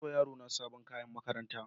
Na saya wa yarona sabon kayan makaranta.